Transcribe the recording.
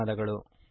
ಧನ್ಯವಾದಗಳು